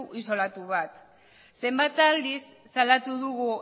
isolatu bat zenbat aldiz salatu dugu